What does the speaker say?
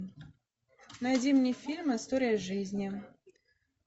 найди мне фильм история жизни